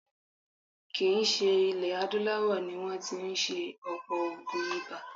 Kì í ṣe ilẹ̀ adúláwọ̀ ni wọ́n tí ń ṣe ọ̀pọ̀ oògùn ibà.